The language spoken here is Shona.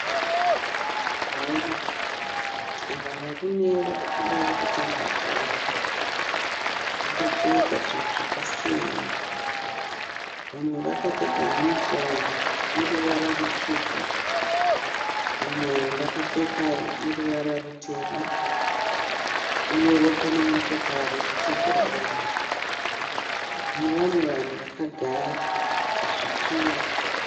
Bhora. Ava varume varikuda kutamba bhora. Vakapfeka zvinhu zvakasiyana. Vamwe vakapfeka yunifomu yeruvara rutsvuku. Vamwe vakapfeka yeruvara rutema. Uyewo pane motikari yekutakura vanhu nevamwe vanhu vakagara pazvituro.